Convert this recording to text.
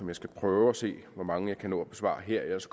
jeg skal prøve at se hvor mange jeg kan nå at besvare her ellers